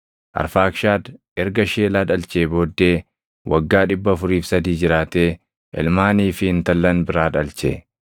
Arfaakshad erga Sheelaa dhalchee booddee waggaa 403 jiraatee ilmaanii fi intallan biraa dhalche.